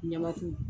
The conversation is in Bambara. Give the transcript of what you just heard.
Ɲamat